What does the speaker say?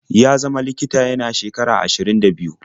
Ya zama likita yana shekara ashirin da biyu.